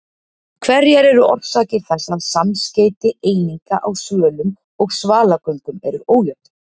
Hverjar eru orsakir þess að samskeyti eininga á svölum og svalagöngum eru ójöfn?